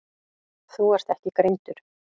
Þú ert ekki greindur.